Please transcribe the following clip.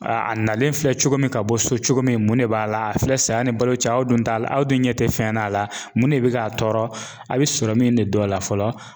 A a nalen filɛ cogo min ka bɔ so cogo min mun de b'a la a filɛ sanni balo cira aw dun t'a la aw dun ɲɛ tɛ fɛn n'a la mun de bɛ k'a tɔɔrɔ a bɛ sɔrɔ min de don a la fɔlɔ.